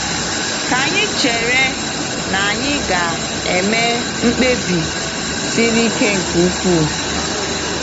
Kà anyị chere na anyị ga-eme mkpebi siri ike nke ukwuu.